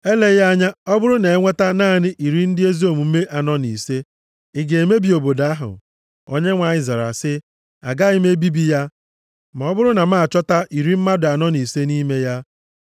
Eleghị anya ọ bụrụ na e nweta naanị iri ndị ezi omume anọ na ise, ị ga-emebi obodo ahụ?” Onyenwe anyị zara sị, “Agaghị m ebibi ya ma ọ bụrụ na m achọta iri mmadụ anọ na ise nʼime ya.”